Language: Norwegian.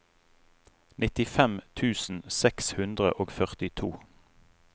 nittifem tusen seks hundre og førtito